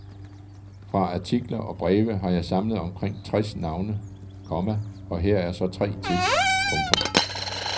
Fra artikler og breve har jeg samlet omkring tres navne, komma og her er så tre til. punktum